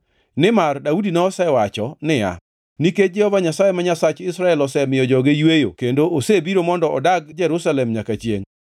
Nimar Daudi nosewacho niya, “Nikech Jehova Nyasaye ma Nyasach Israel osemiyo joge yweyo kendo osebiro mondo odag Jerusalem nyaka chiengʼ,